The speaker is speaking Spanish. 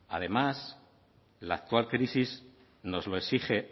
además la actual crisis nos lo exige